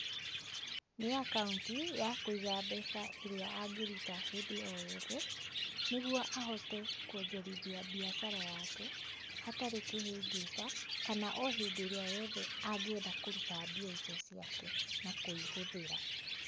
Nĩ akaũnti, ya kũiga mbeca ĩria angĩruta hĩndĩ o yothe, nĩguo ahote kuonjorithia mbiacara yake, hatarĩ kĩhĩngĩca, kana o hĩndĩ ĩrĩa yothe angĩenda kũrũta mbia icio ciake, na kũihũthĩra.